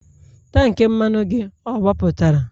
tank mmanụ gị agbapụtara?